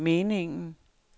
meningen